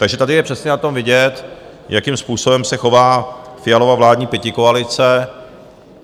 Takže tady je přesně na tom vidět, jakým způsobem se chová Fialova vládní pětikoalice.